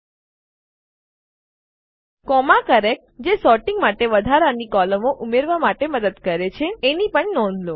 comma character અલ્પવિરામ અક્ષરો જે સોર્ટીંગ માટે વધારાની કોલમો ઉમેરવા માટે મદદ કરે છે એની પણ નોંધ લો